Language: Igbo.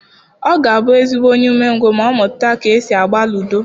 Ọ ga-abụ ezigbo onye umengwụ ma ọ mụta ka e si agba ludo.